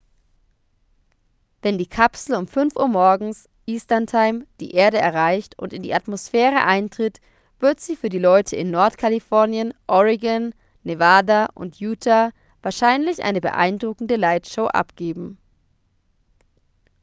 wenn die kapsel um etwa 5 uhr morgens eastern time die erde erreicht und in die atmosphäre eintritt wird sie für die leute in nordkalifornien oregon nevada und utah wahrscheinlich eine beeindruckende lightshow abgeben